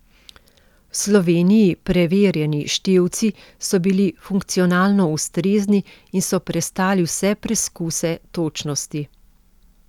V Sloveniji preverjani števci so bili funkcionalno ustrezni in so prestali vse preskuse točnosti.